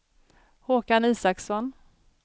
Håkan Isaksson